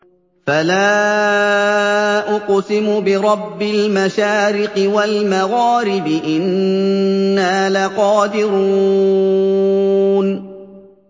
فَلَا أُقْسِمُ بِرَبِّ الْمَشَارِقِ وَالْمَغَارِبِ إِنَّا لَقَادِرُونَ